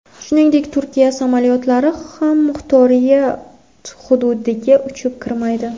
Shuningdek, Turkiya samolyotlari ham muxtoriyat hududiga uchib kirmaydi.